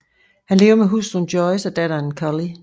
Han lever med hustruen Joyce og datteren Cully